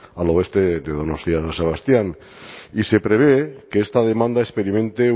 al oeste de donostia san sebastián y se prevé que esta demanda experimente